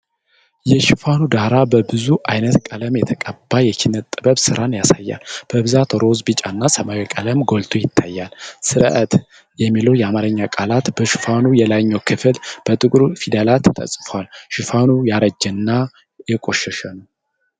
የሽፋኑ ዳራ በብዙ ዓይነት ቀለም የተቀባ የኪነ ጥበብ ሥራን ያሳያል፤ በብዛት ሮዝ፣ ቢጫ እና ሰማያዊ ቀለም ጎልቶ ይታያል። "ሰርዐት!" የሚለው የአማርኛ ቃላት በሽፋኑ የላይኛው ክፍል በጥቁር ፊደላት ተጽፏል። ሽፋኑ ያረጀና የቆሸሸ ነው።